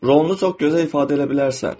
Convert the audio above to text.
Rolunu çox gözəl ifadə eləyə bilərsən.